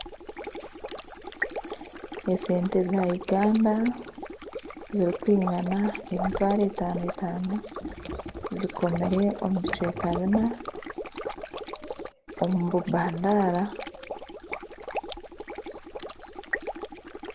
Esente za Uganda zirikwingana emitwaro etano etano zikomire omu bicweka bina omu bubandara .